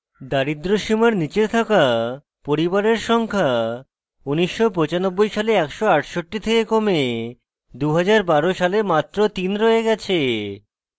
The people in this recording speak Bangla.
দারিদ্র্য সীমার নীচে থাকা পরিবারের সংখ্যা 1995 সালে 168 থেকে কমে 2012 সালে মাত্র 3 রয়ে গেছে